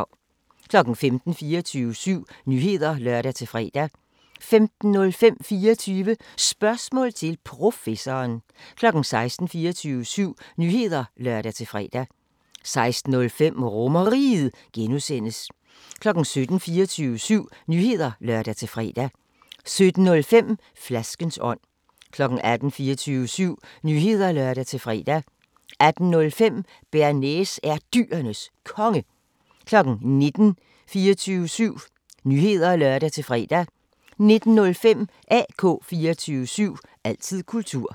15:00: 24syv Nyheder (lør-fre) 15:05: 24 Spørgsmål til Professoren 16:00: 24syv Nyheder (lør-fre) 16:05: RomerRiget (G) 17:00: 24syv Nyheder (lør-fre) 17:05: Flaskens ånd 18:00: 24syv Nyheder (lør-fre) 18:05: Bearnaise er Dyrenes Konge 19:00: 24syv Nyheder (lør-fre) 19:05: AK 24syv – altid kultur